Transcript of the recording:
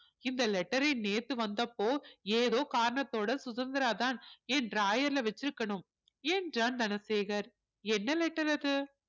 இந்த letter ஐ நேத்து வந்தப்போ ஏதோ காரணத்தோட சுதந்திராதான் என் drawer ல வச்சிருக்கணும் என்றான் தனசேகர் என்ன letter அது